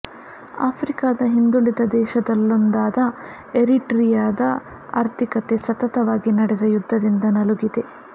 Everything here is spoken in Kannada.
ಆಫ್ರಿಕದ ಹಿಂದುಳಿದ ದೇಶಗಳೊಲ್ಲೊಂದಾದ ಎರಿಟ್ರಿಯಾದ ಆರ್ಥಿಕತೆ ಸತತವಾಗಿ ನಡೆದ ಯುದ್ಧದಿಂದ ನಲುಗಿದೆ